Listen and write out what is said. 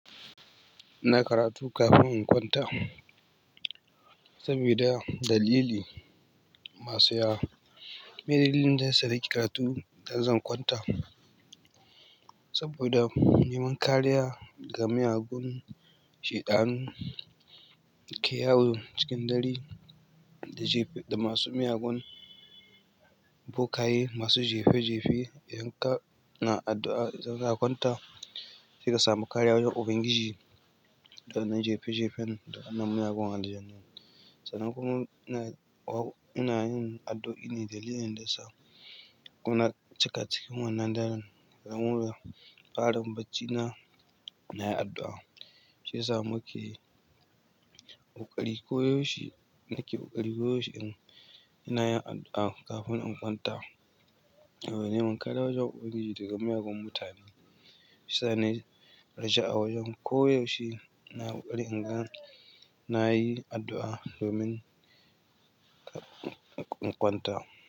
Ina karatu kafin in kwanta sabida dalili masu yawa. Miye dalilin da ya sa ni ke karatu idan zan kwanta saboda neman kariya daga miyagun sheɗanu ke yawo cikin dare da masu miyagun bokaye masu jefe jefe in ka na addu'a idan zaka kwanta, sai ka samu kariya wajan ubangiji da wannan jefe jefen da wannan miyagun aljannu. Sannan kuma ina yin addu'a ne dalilin da yasa kuna cika ciki wannan daren. Wan wurin farin baccina nayi addu'a, shiyasa muke ƙoƙari ko yaushe nike ƙoƙari ko yaushe inayin addu'a kafin in kwanta. Neman kariya wajen ubangiji daga miyagun mutane. Shiyasa na nai sha'awar yin ko koyaushe na ƙoƙari inga na yi addu'a domin in kwanta.